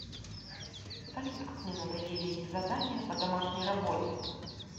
салют как мне надоели эти задания по домашней работе